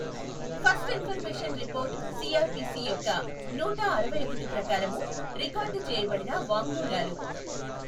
First information report CrPC యొక్క నూటఅరవైఒకటి ప్రకారము రికార్డ్ చేయబడిన వాంఙ్మూలాలు.